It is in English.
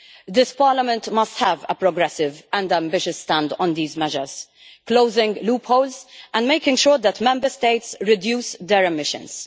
This Parliament must have a progressive and ambitious stand on these measures, closing loopholes and making sure that Member States reduce their emissions